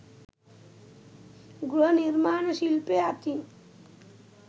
ගෘහ නිර්මාණ ශිල්පය අතින්